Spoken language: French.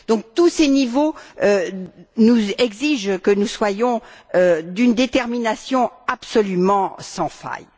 Tous ces niveaux exigent que nous soyons d'une détermination absolument sans faille.